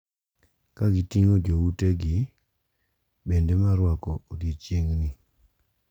Kagiting`o joutegi bende mar rwako odiechieng`ni.